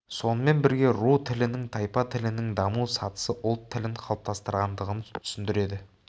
сонымен бірге ру тілінің тайпа тілінің даму сатысы ұлт тілін қалыптастырғандығын түсіндіреді